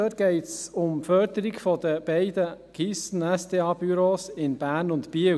Dort geht es um die Förderung der beiden Keystone-/SDA-Büros in Bern und Biel.